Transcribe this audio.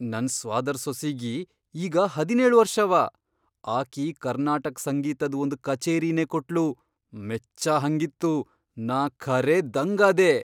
ನನ್ ಸ್ವಾದರ್ ಸೊಸಿಗಿ ಈಗ ಹದಿನೇಳ್ ವರ್ಷವ, ಆಕಿ ಕರ್ನಾಟಕ್ ಸಂಗೀತದ್ ಒಂದ್ ಕಚೇರಿನೇ ಕೊಟ್ಲು ಮೆಚ್ಚಹಂಗಿತ್ತು ನಾ ಖರೇ ದಂಗಾದೆ.